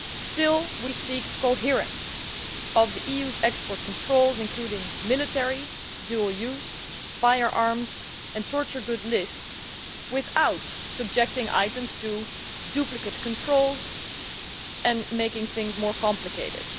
Still, we seek coherence of the EU's export controls, including military, dual use, firearms and torture goods lists, without subjecting items to duplicate controls and making things more complicated.